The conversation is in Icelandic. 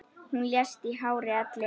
Hún lést í hárri elli.